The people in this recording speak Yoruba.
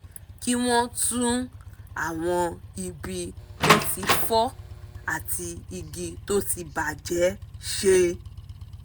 kí wọ́n tún àwọn ibi tó ti fọ́ àti igi tó ti bà jẹ́ ṣe